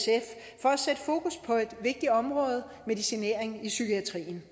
vigtigt område medicinering i psykiatrien